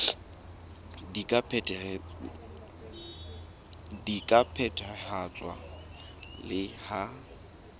di ka phethahatswa le ha